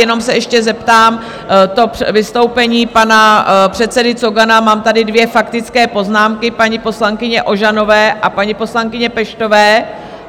Jenom se ještě zeptám, to vystoupení pana předsedy Cogana, mám tady dvě faktické poznámky - paní poslankyně Ožanové a paní poslankyně Peštové.